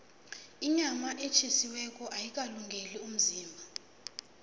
inyama etjhisiweko ayikalungeli umzimba